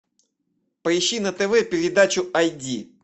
поищи на тв передачу ай ди